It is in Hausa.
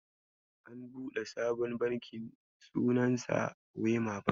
An buɗe sabon Banki sunansa wema Bank.